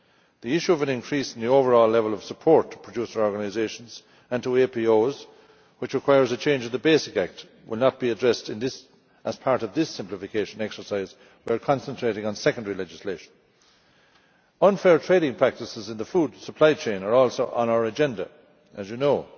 The issue of an increase in the overall level of support to producer organisations and to APOs, which requires a change in the basic act, will not be addressed as part of this simplification exercise, where we are concentrating on secondary legislation. Unfair trading practices in the food supply chain are also on our agenda, as you know.